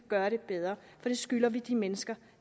gøre det bedre for det skylder vi de mennesker